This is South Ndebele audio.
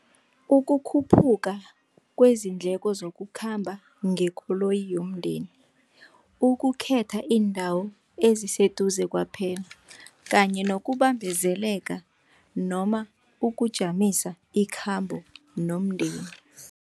Ukukhuphuka kwezindleko zokukhamba ngekoloyi yomndeni, ukukhetha iindawo eziseduze kwaphela kanye nokubambezeleka noma ukujamisa ikhambo nomndeni.